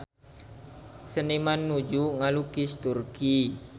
Seniman nuju ngalukis Turki